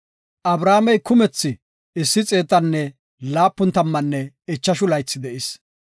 Abrahaamey kumethi issi xeetanne laapun tammanne ichashu laythi de7is.